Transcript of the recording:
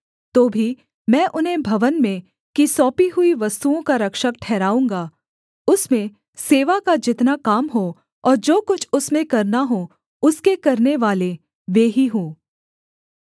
तो भी मैं उन्हें भवन में की सौंपी हुई वस्तुओं का रक्षक ठहराऊँगा उसमें सेवा का जितना काम हो और जो कुछ उसमें करना हो उसके करनेवाले वे ही हों